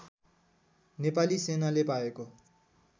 नेपाली सेनाले पाएको